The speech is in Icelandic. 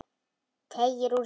Teygir úr sér.